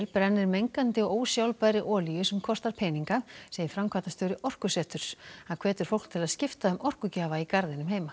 brennir mengandi og ósjálfbærri olíu sem kostar peninga segir framkvæmdastjóri Orkuseturs hann hvetur fólk til að skipta um orkugjafa í garðinum heima